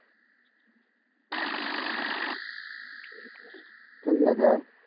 ঠিক আছে আই